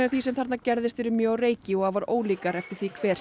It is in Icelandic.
því sem þarna gerðist eru mjög á reiki og afar ólíkar eftir því hver